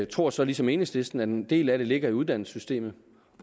tror så ligesom enhedslisten at en del af det ligger i uddannelsessystemet